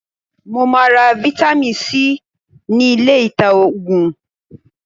Mo máa ra fáítámì C ní ilé ìta Ògùn.